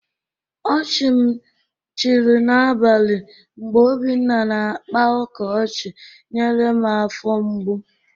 Ọchị m chịrị n'abalị mgbe Obinna na-akpa ụka ọchị nyere m afọ mgbụ.